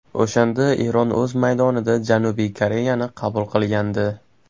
O‘shanda Eron o‘z maydonida Janubiy Koreyani qabul qilgandi.